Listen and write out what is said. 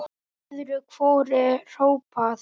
Öðru hvoru er hrópað.